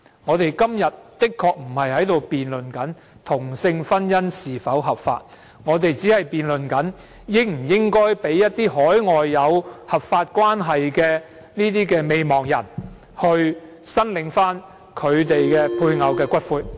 我們今天確實並非辯論同性婚姻是否合法，而只是辯論應否讓在海外有合法關係的未亡人申領其配偶的骨灰。